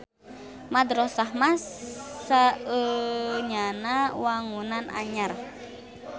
Madrosah mah saenyana wangunan anyar.